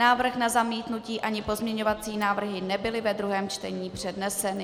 Návrh na zamítnutí ani pozměňovací návrhy nebyly ve druhém čtení předneseny.